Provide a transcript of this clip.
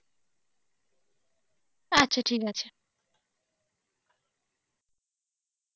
আচ্ছা ঠিক আছে.